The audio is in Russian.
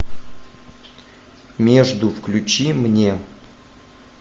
между включи мне